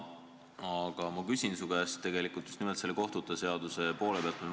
Aga ma küsin su käest just nimelt seda kohtute seadust silmas pidades.